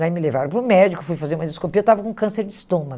Daí me levaram para o médico, fui fazer uma endoscopia, eu estava com câncer de estômago.